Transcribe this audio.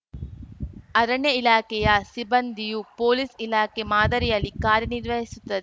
ಅರಣ್ಯ ಇಲಾಖೆಯ ಸಿಬ್ಬಂದಿಯೂ ಪೊಲೀಸ್‌ ಇಲಾಖೆ ಮಾದರಿಯಲ್ಲಿ ಕಾರ್ಯನಿರ್ವಹಿಸುತ್ತ